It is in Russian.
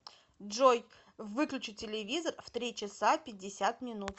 джой выключи телевизор в три часа пятьдесят минут